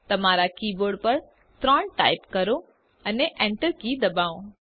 તમારા કીબોર્ડ પર 3 ટાઇપ કરો અને Enter કી દબાવો